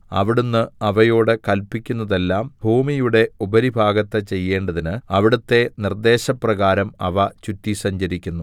അവിടുന്ന് അവയോട് കല്പിക്കുന്നതെല്ലാം ഭൂമിയുടെ ഉപരിഭാഗത്ത് ചെയ്യേണ്ടതിന് അവിടുത്തെ നിർദ്ദേശപ്രകാരം അവ ചുറ്റി സഞ്ചരിക്കുന്നു